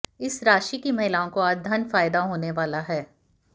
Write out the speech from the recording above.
इस राशि की महिलाओं को आज धन फायदाहोने वाला है